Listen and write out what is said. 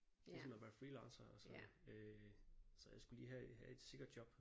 Ligesom at være freelancer og sådan øh så jeg skulle lige have have et sikkert job